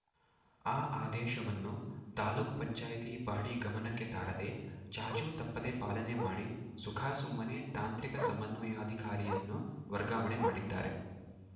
ಆ ಆದೇಶವನ್ನು ತಾಲೂಕ್ ಪಂಚಾಯತಿ ಬಾಡಿ ಗಮನಕ್ಕೆ ತಾರದೇ ಚಾಚು ತಪ್ಪದೇ ಪಾಲನೆ ಮಾಡಿ ಸುಖಾಸುಮ್ಮನೆ ತಾಂತ್ರಿಕ ಸಮನ್ವಯಾಧಿಕಾರಿಯನ್ನು ವರ್ಗಾವಣೆ ಮಾಡಿದ್ದಾರೆ